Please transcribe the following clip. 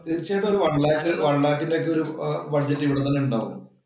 തീർച്ചയായിട്ടും ഒരു one lakh ഒരു one lakh ഇന്‍റെ ഒരു ബഡ്ജറ്റ് ഇവിടെ തന്നെ ഉണ്ടാകും